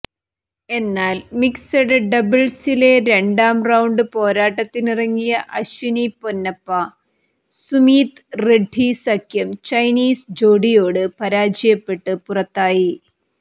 എന്നാൽ മിക്സഡ് ഡബിൾസിലെ രണ്ടാം റൌണ്ട് പോരാട്ടത്തിനിറങ്ങിയ അശ്വിനി പൊന്നപ്പ സുമീത് റെഡ്ഡി സഖ്യം ചൈനീസ് ജോഡിയോട് പരാജയപ്പെട്ട് പുറത്തായി